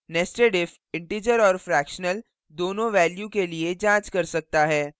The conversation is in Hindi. nested if integer और fractional दोनों values के लिए जांच कर सकता है